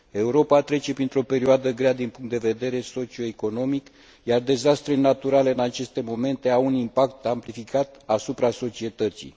Europa trece printr o perioadă grea din punct de vedere socio economic, iar dezastrele naturale, în aceste momente, au un impact amplificat asupra societății.